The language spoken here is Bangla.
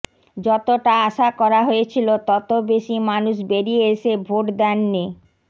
যতটা আশা করা হয়েছিল তত বেশি মানুষ বেরিয়ে এসে ভোট দেননি